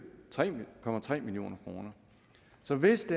hvor man brugte tre million kroner så hvis